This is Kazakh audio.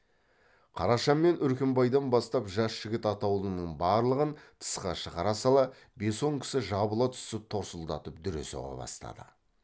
қараша мен үркімбайдан бастап жас жігіт атаулының барлығын тысқа шығара сала бес он кісі жабыла түсіп торсылдатып дүре соға бастады